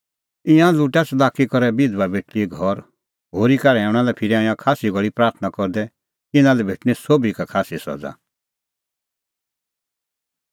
ईंयां लुटा च़लाकी करै बिधबा बेटल़ीए घर होरी का रहैऊंणा लै फिरा ईंयां खास्सी घल़ी प्राथणां करदै इना लै भेटणीं सोभी का खास्सी सज़ा